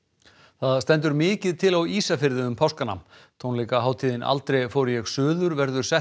það stendur mikið til á Ísafirði um páskana tónleikahátíðin aldrei fór ég suður verður sett